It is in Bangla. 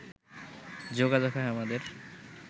যোগাযোগ হয় আমাদের